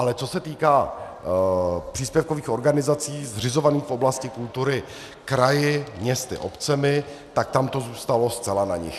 Ale co se týká příspěvkových organizací zřizovaných v oblasti kultury kraji, městy, obcemi, tak tam to zůstalo zcela na nich.